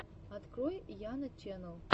открой яна ченнал